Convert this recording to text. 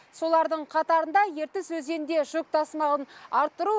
солардың қатарында ертіс өзенінде жүк тасымалын арттыру